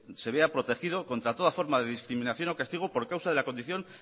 se vea protegido contra toda forma de discriminación o castigo por causa de la condición